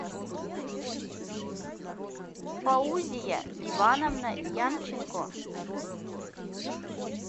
фаузия ивановна янченко